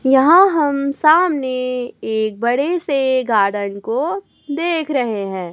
यहाँ हम सामने एक बड़े से गार्डन को देख रहे हैं।